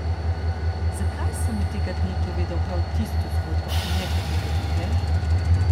Zakaj sem mu tega dne povedal prav tisto zgodbo in ne katere druge?